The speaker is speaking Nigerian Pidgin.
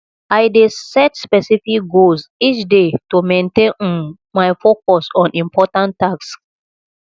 i dey set specific goals each day to maintain um my focus on important tasks